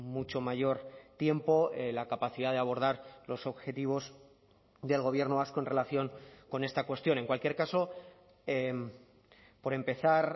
mucho mayor tiempo la capacidad de abordar los objetivos del gobierno vasco en relación con esta cuestión en cualquier caso por empezar